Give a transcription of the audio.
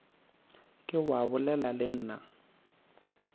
ke wa bolela le nna